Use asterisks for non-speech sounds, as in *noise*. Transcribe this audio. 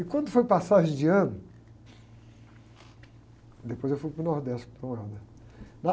E quando foi passagem de ano, depois eu fui para o Nordeste, *unintelligible*